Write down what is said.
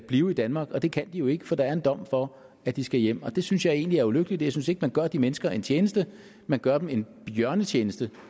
blive i danmark og det kan de jo ikke for der er en dom for at de skal hjem og det synes jeg egentlig er ulykkeligt jeg synes ikke man gør de mennesker en tjeneste man gør dem en bjørnetjeneste